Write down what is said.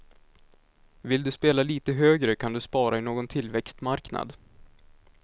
Vill du spela lite högre kan du spara i någon tillväxtmarknad.